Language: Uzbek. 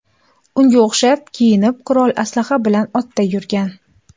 Unga o‘xshab kiyinib, qurol-aslaha bilan otda yurgan.